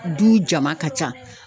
Du jama ka ca